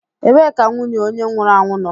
Ebee ka nwunye onye nwụrụ anwụ nọ?